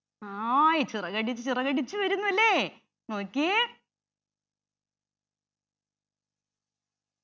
hai ചിറകടിച്ചു ചിറകടിച്ചു വരുന്നു അല്ലെ നോക്കിയേ